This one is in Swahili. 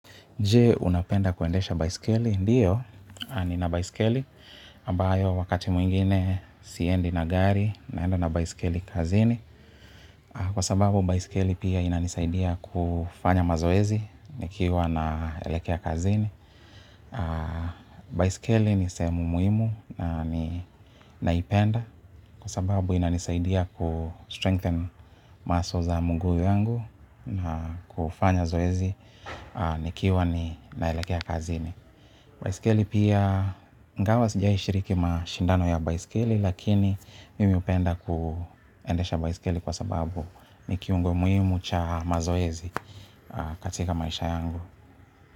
Jee! Unapenda kuendesha baiskeli? Ndiyo, ninabaiskeli, ambayo wakati mwingine siendi na gari, naenda na baiskeli kazini. Kwa sababu, baiskeli pia inanisaidia kufanya mazoezi, nikiwa naelekea kazini. Baiskeli ni sehemu muhimu naninaipenda, kwa sababu inanisaidia ku-strengthen muscle za mguu wangu na kufanya zoezi, nikiwa ni naelekea kazini. Baisikeli pia ingawa sijaishiriki mashindano ya baisikeli lakini mimi hupenda kuendesha baisikeli kwa sababu ni kiungo muhimu cha mazoezi katika maisha yangu.